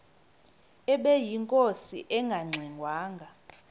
ubeyinkosi engangxe ngwanga